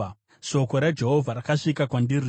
Shoko raJehovha rakasvika kwandiri richiti,